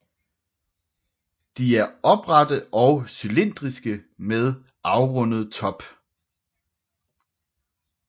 De er oprette og cylindriske med afrundet top